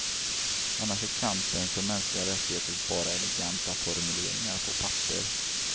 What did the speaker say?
Annars är kampen för mänskliga rättigheter bara eleganta formuleringar på papper.